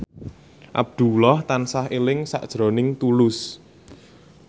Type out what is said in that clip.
Abdullah tansah eling sakjroning Tulus